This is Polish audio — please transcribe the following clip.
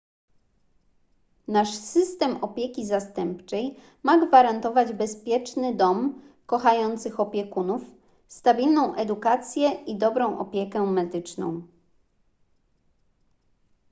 nasz system opieki zastępczej ma gwarantować bezpieczny dom kochających opiekunów stabilną edukację i dobrą opiekę medyczną